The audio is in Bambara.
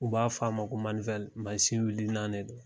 U b'a fɔ a ma ko masin wulinan de don